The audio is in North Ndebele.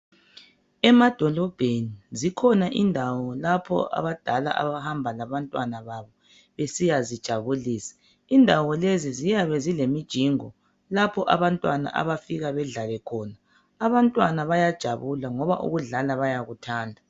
Emadolobheni zikhona indawo lapho abadala abahamba labantwana babo besiyazijabulisa indawo lezi ziyabe zilemijingo lapho abantwana abafika bedlale khona abantwana bayathokoza ngoba ukudlala bayakuthanda.